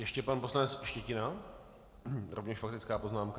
Ještě pan poslanec Štětina, rovněž faktická poznámka.